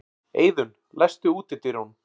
Eiðunn, læstu útidyrunum.